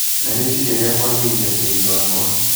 na rĩciria rĩa kũagĩrithia tĩri wakwa.